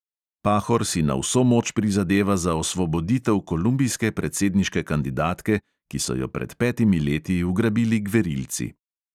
Pahor si na vso moč prizadeva za osvoboditev kolumbijske predsedniške kandidatke, ki so jo pred petimi leti ugrabili gverilci.